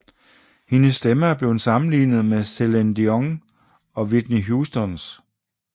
Hendes stemme er blevet sammenlignet med Celine Dion og Whitney Houstons